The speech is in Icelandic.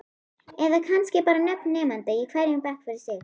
Eða kannski bara nöfn nemenda í hverjum bekk fyrir sig?